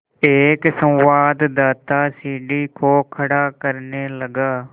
एक संवाददाता सीढ़ी को खड़ा करने लगा